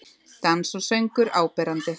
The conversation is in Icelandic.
Dans og söngur áberandi